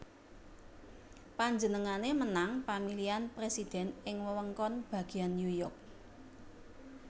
Panjenengané menang pamilihan presiden ing wewengkon bagian New York